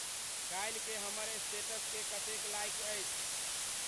काल्हि के हमर स्टेटस के कतेक लाइक अछि